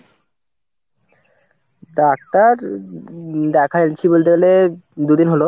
Doctor দেখাইছি বলতে গেলে দুদিন হল।